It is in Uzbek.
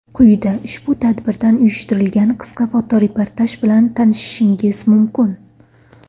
Quyida ushbu tadbirdan uyushtirilgan qisqa fotoreportaj bilan tanishishingiz mumkin.